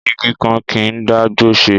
Ìgí kàn ki ń dà gbò sẹ